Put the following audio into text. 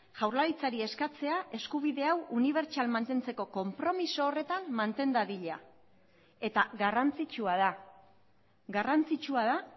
jaurlaritzari eskatzea eskubide hau unibertsal mantentzeko konpromiso horretan manten dadila eta garrantzitsua da garrantzitsua da